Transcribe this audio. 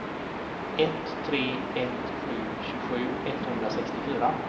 ett tre ett sju tjugosju etthundrasextiofyra